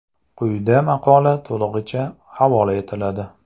Quyida maqola to‘lig‘icha havola etiladi.